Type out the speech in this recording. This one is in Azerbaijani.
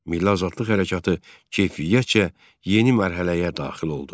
Milli azadlıq hərəkatı keyfiyyətcə yeni mərhələyə daxil oldu.